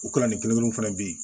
O kalan ni kelen kelen fana bɛ yen